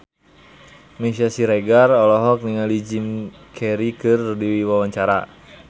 Meisya Siregar olohok ningali Jim Carey keur diwawancara